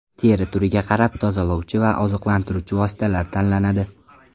Teri turiga qarab tozalovchi va oziqlantiruvchi vositalar tanlanadi.